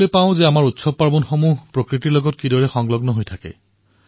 আমাৰ উৎসৱ প্ৰকৃতিৰ সৈতে কিদৰে জড়িত সেয়া আমি দেখিবলৈ পাওঁ